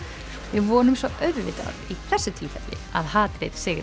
við vonum svo auðvitað í þessu tilfelli að hatrið sigri